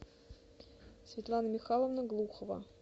светлана михайловна глухова